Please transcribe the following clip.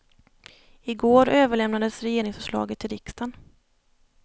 I går överlämnades regeringsförslaget till riksdagen.